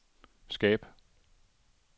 skab